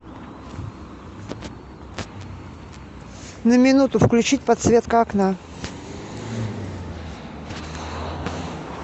на минуту включить подсветка окна